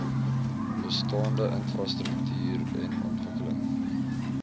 bestaande infrastruktuuren ontwikkeling